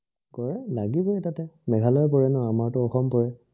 কৰে, লাগিবই তাতে, মেঘালয় পৰে ন আমাৰটো অসম পৰে